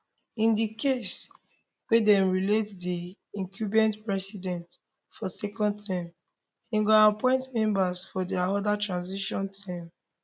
in di case wia dem reelect di incumbent president for second term im go appoint members for di oda transition team